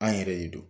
An yɛrɛ de don